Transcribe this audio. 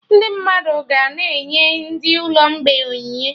Ndị mmadụ ga na-enye ndị ụlọ mgbei onyinye